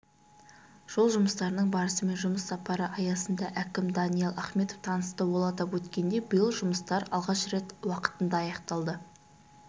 жол жұмыстарының барысымен жұмыс сапары аясында әкімі даниал ахметов танысты ол атап өткендей биыл жұмыстар алғаш рет уақытында аяқталды